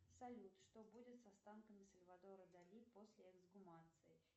салют что будет с останками сальвадора дали после эксгумации